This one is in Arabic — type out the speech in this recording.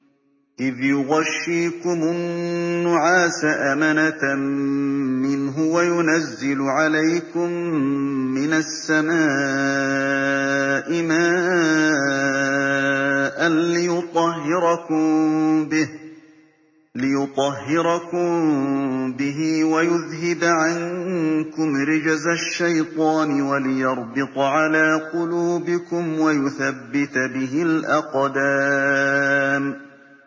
إِذْ يُغَشِّيكُمُ النُّعَاسَ أَمَنَةً مِّنْهُ وَيُنَزِّلُ عَلَيْكُم مِّنَ السَّمَاءِ مَاءً لِّيُطَهِّرَكُم بِهِ وَيُذْهِبَ عَنكُمْ رِجْزَ الشَّيْطَانِ وَلِيَرْبِطَ عَلَىٰ قُلُوبِكُمْ وَيُثَبِّتَ بِهِ الْأَقْدَامَ